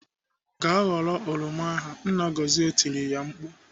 "Gaa ghọrọ oroma ahụ!" Nna Gọzie tiri ya mkpu.